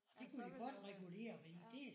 Ja så ville det jo være